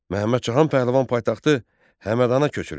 Məhəmməd Cahan Pəhləvan paytaxtı Həmədana köçürdü.